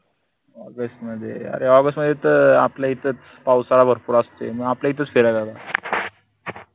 august मध्ये अरे august मध्येत आपल्या इथं पावसाळा भरपूर असतोय म आपल्या इथच फिरारेला